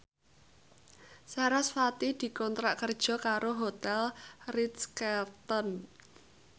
sarasvati dikontrak kerja karo Hotel Ritz Carlton